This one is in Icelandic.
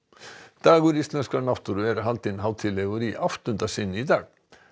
dagur íslenskrar náttúru var haldinn hátíðlegur í áttunda sinn í dag